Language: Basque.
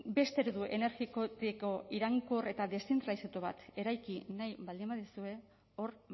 beste eredu energetiko iraunkor eta deszentralizatu bat eraiki nahi baldin baduzue hor